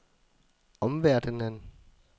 omverdenen